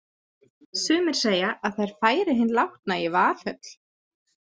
Sumir segja að þær færi hinn látna í Valhöll.